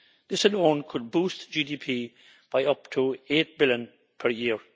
This alone could boost GDP by up to EUR 8 billion per year.